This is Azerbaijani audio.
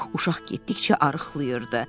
Uşaq getdikcə arıqlayırdı.